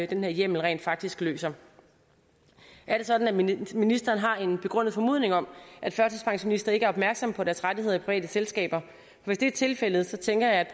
den her hjemmel rent faktisk løser er det sådan at ministeren har en begrundet formodning om at førtidspensionister ikke er opmærksomme på deres rettigheder i private selskaber hvis det er tilfældet tænker jeg at